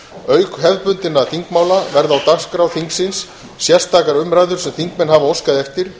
auk hefðbundinna þingmála verða á dagskrá þingsins sérstakar umræður sem þingmenn hafa óskað eftir